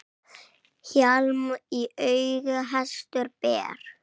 Hjálm í auga hestur ber.